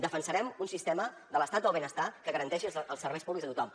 defensarem un sistema de l’estat del benestar que garanteixi els serveis públics a tothom